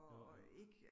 Jo jo